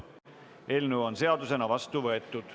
Eelnõu on seadusena vastu võetud.